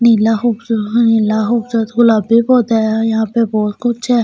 नीला हुबसुहा है लाहों सद गुलाब्बे पौधे है यहाँ पे बहुत कुछ है यहाँ पर--